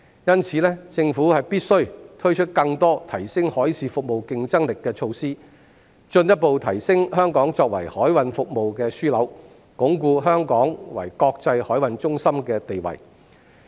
因此，政府必須推出更多提升海事服務競爭力的措施，進一步提升香港作為海運服務的樞紐，鞏固香港作為國際海運中心的地位。